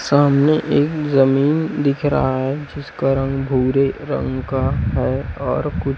सामने एक जमीन दिख रहा है जिसका रंग भूरे रंग का है और कु--